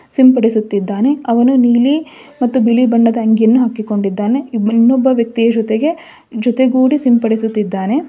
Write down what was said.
ಸಿಂಪಡಿಸುತ್ತಿದ್ದಾನೆ ಅವನು ನೀಲಿ ಮತ್ತು ಬಿಳಿ ಬಣ್ಣದ ಅಂಗಿಯನ್ನು ಹಾಕಿಕೊಂಡಿದ್ದಾನೆ ಇನ್ನೊಬ್ಬ ವ್ಯಕ್ತಿಯ ಜೊತೆಗೆ ಜೊತೆಗೂಡಿ ಸಿಂಪಡಿಸುತ್ತಿದ್ದಾನೆ.